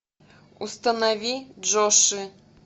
установи джоши